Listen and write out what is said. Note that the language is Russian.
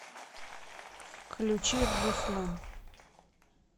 включи рруслан